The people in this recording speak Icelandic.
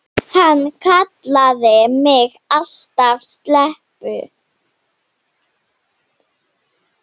Hann kallaði mig alltaf stelpu.